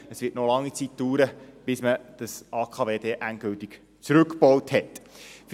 Es wird noch lange Zeit dauern, bis das AKW endgültig zurückgebaut sein wird.